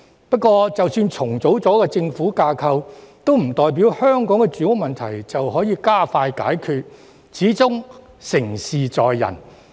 不過，即使重組政府架構，亦不代表香港的住屋問題能加快得到解決，始終成事在人。